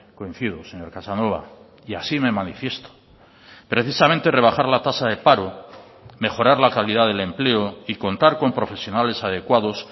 coincido señor casanova y así me manifiesto precisamente rebajar la tasa de paro mejorar la calidad del empleo y contar con profesionales adecuados